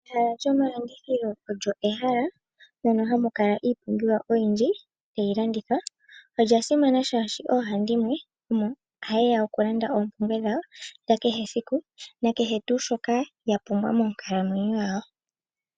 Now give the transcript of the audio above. Ehala lyomalandithilo olyo ehala mono hamu kala iipumbiwa oyindji tayi landithwa. Olya simana shashi oohandimwe omohayeya okulanda oompumbwe dhawo dhakehe esiku nakehe shoka yapumbwa moonkalamwenyo yawo.